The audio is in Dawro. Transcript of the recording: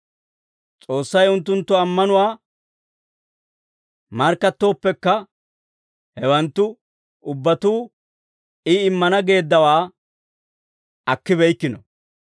S'oossay unttunttu ammanuwaa markkattooppekka, hewanttu ubbatuu I, immana geeddawaa akkibeykkino.